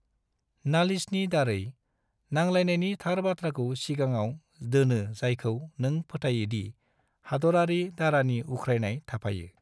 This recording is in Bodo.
नालिसनि दारै, नांलायनायनि थार बाथ्राखौ सिगाङाव दोनो जायखौ नों फोथाइयोदि हादरारि दारानि उख्रायनाय थाफायो।